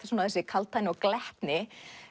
þessi kaldhæðni og glettni